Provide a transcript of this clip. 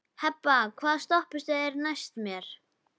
Hebba, hvaða stoppistöð er næst mér?